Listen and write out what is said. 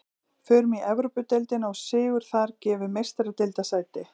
Förum í Evrópudeildina og sigur þar gefur Meistaradeildarsæti.